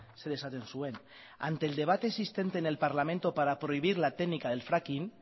zer esaten zuen ante el debate existente en el parlamento para prohibir la técnica del fracking